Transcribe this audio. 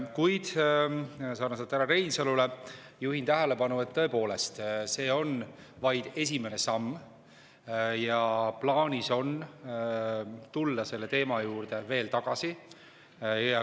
Kuid sarnaselt härra Reinsaluga juhin ma tähelepanu, et tõepoolest, see on vaid esimene samm ja plaanis on tulla selle teema juurde veel tagasi.